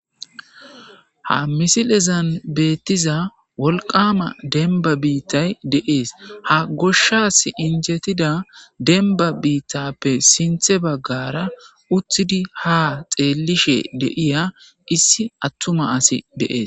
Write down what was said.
ha misilezan beettiza wolqama denba biittay deees ha goshshas injetida denba biittappe sinthe baggara uttidi ha xeellishe deiya issi attuma asi deees